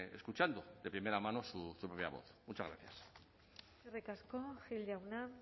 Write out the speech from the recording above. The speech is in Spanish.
escuchando de primera mano su propia voz muchas gracias eskerrik asko gil jauna